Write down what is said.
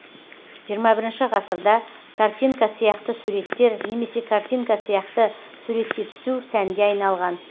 жиырма бірінші ғасырда картинка сияқты суреттер немесе картинка сияқты суретке түсу сәнге айналған